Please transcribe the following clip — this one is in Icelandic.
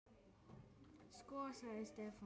Sko. sagði Stefán.